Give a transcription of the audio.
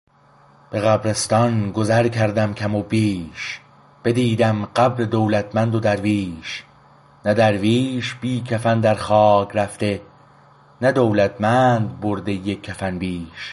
به قبرستان گذر کردم کم و بیش بدیدم قبر دولتمند و درویش نه درویش بی کفن در خاک رفته نه دولتمند برده یک کفن بیش